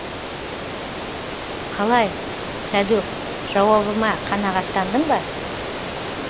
қалай сәдөк жауабыма қанағаттандың ба